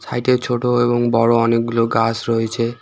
সাইটে ছোট এবং বড় অনেকগুলো গাছ রয়েছে।